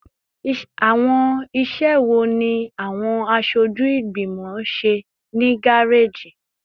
Awọn iṣẹ wo ni awọn aṣoju igbimọ ṣe ni gareji?